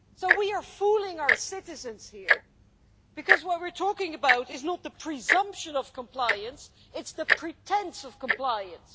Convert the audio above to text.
We are fooling our citizens here because what we're talking about is not the presumption of compliance, it's the pretence of compliance.